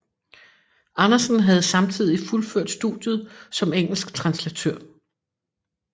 Andersen havde samtidig fuldført studiet som engelsk translatør